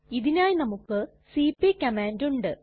ഇതിനായി നമുക്ക് cp command ഉണ്ട്